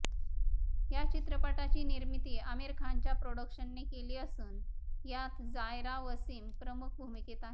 या चित्रपटाची निर्मिती आमिर खानच्या प्रोडक्शनने केली असून यात जायरा वसीम प्रमुख भूमिकेत आहे